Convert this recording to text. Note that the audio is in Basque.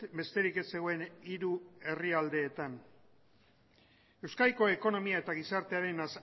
besterik ez zegoen hiru herrialdeetan euskadiko ekonomia eta gizartearen